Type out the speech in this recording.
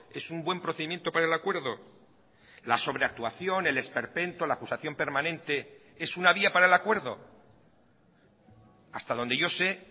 es un buen procedimiento para el acuerdo la sobreactuación el esperpento la acusación permanente es una vía para el acuerdo hasta donde yo sé